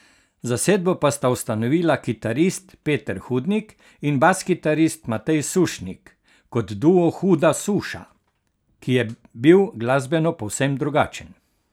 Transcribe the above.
Zasedbo pa sta ustanovila kitarist Peter Hudnik in baskitarist Matej Sušnik, kot duo Huda suša, ki je bil glasbeno povsem drugačen.